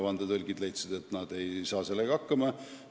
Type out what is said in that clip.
Vandetõlgid leidsid, et nad ei saa sellega hakkama.